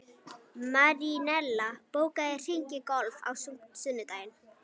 Marinella, bókaðu hring í golf á sunnudaginn.